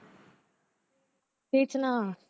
तेच ना